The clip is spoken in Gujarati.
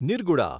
નિર્ગુડા